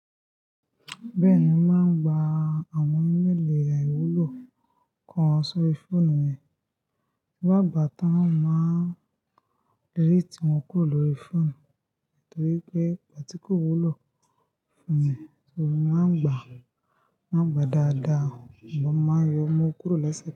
Bẹ́ẹ̀ni, mo máa ń gba àwọn ímeeli àìwúlò kan sórí fóònù mi. Ti n bá gbà tán, n máa ń delétè wọn kúrò lórí fóònù mi nítorí pé gbà tí kò wúlò fún mi. Nítorí mo máa ń gbà, mo máa ń gbà dáadáa, sugbon mo máa ń yọ̀ mu kúrò lẹ́sẹ̀kan.